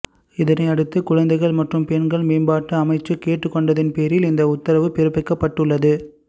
இதனையடுத்து குழந்தைகள் மற்றும் பெண்கள் மேம்பாட்டு அமைச்சு கேட்டுக்கொண்டதின் பேரில் இந்த உத்தரவு பிறப்பிக்கப்பட்டுள்ளது